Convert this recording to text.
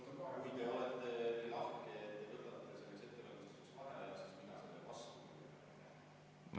Kui te olete nii lahke, et vaheaja võtate, siis mina ei ole vastu.